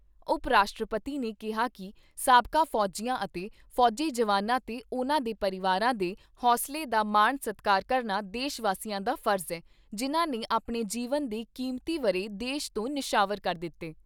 ਉਪ ਰਾਸ਼ਟਰਪਤੀ ਨੇ ਕਿਹਾ ਕਿ ਸਾਬਕਾ ਫੌਜੀਆਂ ਅਤੇ ਫੌਜੀ ਜਵਾਨਾਂ ਤੇ ਉਨ੍ਹਾਂ ਦੇ ਪਰਿਵਾਰਾਂ ਦੇ ਹੌਂਸਲੇ ਦਾ ਮਾਣ ਸਤਿਕਾਰ ਕਰਨਾ ਦੇਸ਼ ਵਾਸੀਆਂ ਦਾ ਫਰਜ਼ ਏ, ਜਿਨ੍ਹਾਂ ਨੇ ਆਪਣੇ ਜੀਵਨ ਦੇ ਕੀਮਤੀ ਵਰ੍ਹੇ ਦੇਸ਼ ਤੋਂ ਨਿਸ਼ਾਵਰ ਕਰ ਦਿੱਤੇ।